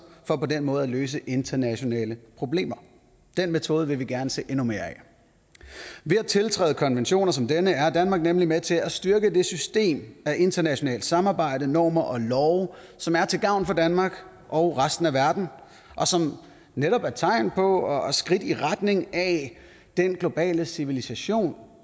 for på den måde at løse internationale problemer den metode vil vi gerne se endnu mere af ved at tiltræde konventioner som denne er danmark nemlig med til at styrke det system af internationalt samarbejde normer og love som er til gavn for danmark og resten af verden og som netop er et tegn på og skridt i retning af den globale civilisation